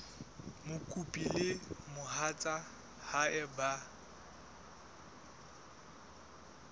mokopi le mohatsa hae ba